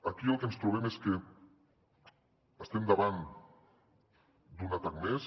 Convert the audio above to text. aquí el que ens trobem és que estem davant d’un atac més